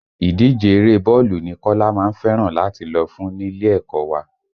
Ìdíje eré bọ́ọ̀lù ni Kọ́lá má ń fẹ́ràn láti lọ fún nílé ẹ̀kọ́ wa